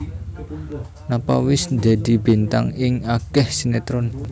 Nova wis dadi bintang ing akeh sinetron